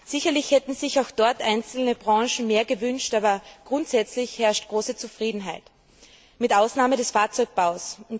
Sicherlich hätten sich einzelne Branchen mehr gewünscht, aber grundsätzlich herrscht große Zufriedenheit, mit Ausnahme des Fahrzeugbaus.